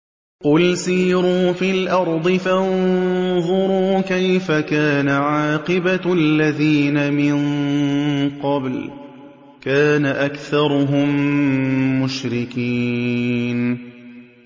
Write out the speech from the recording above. قُلْ سِيرُوا فِي الْأَرْضِ فَانظُرُوا كَيْفَ كَانَ عَاقِبَةُ الَّذِينَ مِن قَبْلُ ۚ كَانَ أَكْثَرُهُم مُّشْرِكِينَ